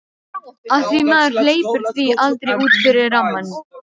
Af því maður hleypir því aldrei út fyrir rammann.